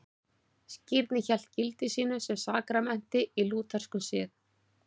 Skírnin hélt gildi sínu sem sakramenti í lútherskum sið.